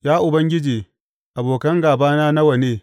Ya Ubangiji, abokan gābana nawa ne!